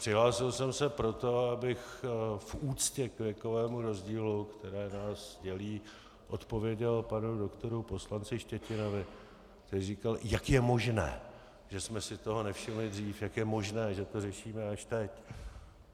Přihlásil jsem se proto, abych v úctě k věkovému rozdílu, který nás dělí, odpověděl panu doktoru poslanci Štětinovi, který říkal, jak je možné, že jsme si toho nevšimli dřív, jak je možné, že to řešíme až teď.